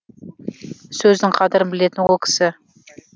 сөздің қадірін білетін ол кісі